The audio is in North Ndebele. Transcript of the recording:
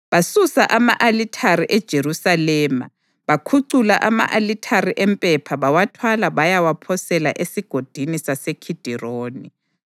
Basusa ama-alithare eJerusalema bakhucula ama-alithare empepha bawathwala bayawaphosela eSigodini saseKhidironi.